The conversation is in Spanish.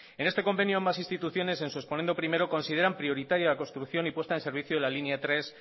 en este convenio ambas instituciones en su exponendo primero consideran prioritaria la construcción y puesta en servicio la línea tres